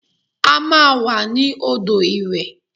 A máa wà ní odò ìwẹ̀